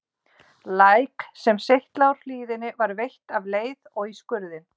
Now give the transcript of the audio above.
Læk, sem seytlaði úr hlíðinni var veitt af leið og í skurðinn.